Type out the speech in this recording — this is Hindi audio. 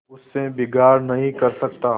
उससे बिगाड़ नहीं कर सकता